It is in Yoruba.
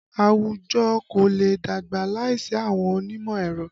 Àwùjọ kò lè dàgbà láìsí àwọn onímọ̀ ẹ̀rọ